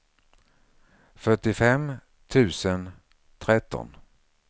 fyrtiofem tusen tretton